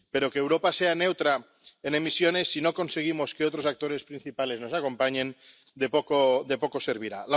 Pero que Europa sea neutra en emisiones, si no conseguimos que otros actores principales nos acompañen, de poco servirá.